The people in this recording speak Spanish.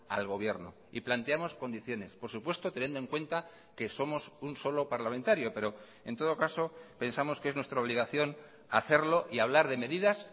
al gobierno y planteamos condiciones por supuesto teniendo en cuenta que somos un solo parlamentario pero en todo caso pensamos que es nuestra obligación hacerlo y hablar de medidas